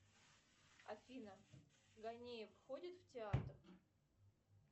афина гонеев ходит в театр